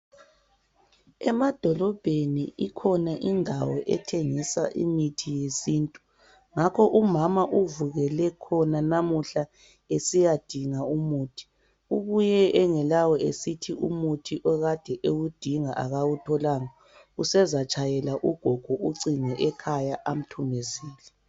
Emadolobheni ikhona indawo ethengiswa imithi yesintu, ngakho umama uvukele khona namuhla esiyadinga umuthi. Ubuye engelawo esithi umuthi okade ewudinga akawutholanga usezatshayela ugogo ucingo ekhaya amthumezele.